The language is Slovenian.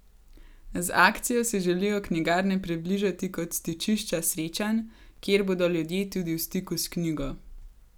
Z akcijo si želijo knjigarne približati kot stičišča srečanj, kjer bodo ljudje tudi v stiku s knjigo.